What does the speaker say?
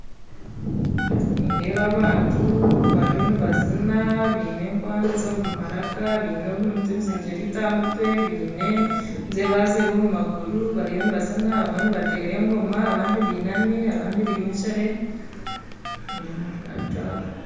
Nindeeba abantu bariyo nibazina baine enkwanzi omu maraka baine obuntu obuzingirite aha mutwe baine enjebajebe omu maguru bariyo nibazina abamwe nibatera engoma abandi binami abandi bimukire abantu abo.